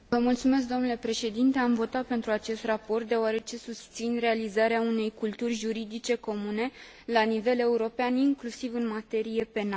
Am votat pentru acest raport deoarece susțin realizarea unei culturi juridice comune la nivel european inclusiv în materie penală.